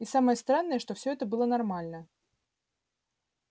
и самое странное что всё это было нормально